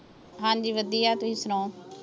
ਹਾਂਜੀ ਵਧੀਆ ਤੁਸੀਂ ਸੁਣਾਉ।